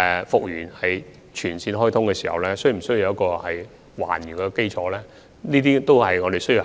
通車時，所作的改動又是否需要還原等，這些問題都是要考慮的。